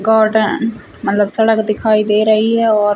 कार्डन मतलब सड़क दिखाई दे रही है और --